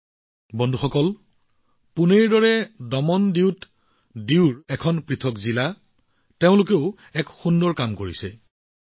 বন্ধুসকল পুনেৰ দৰে দমনডিউৰ লোকসকলেও এক সুন্দৰ কাম কৰিছে যি হৈছে এখন পৃথক জিলা